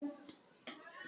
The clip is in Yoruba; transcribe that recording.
Òǹkà ni a máa fi ka ọsàn náà.